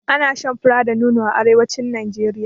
Ana shan fura da nono a arewacin Najeriya.